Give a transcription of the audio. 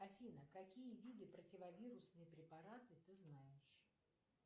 афина какие виды противовирусные препараты ты знаешь